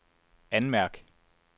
anmærk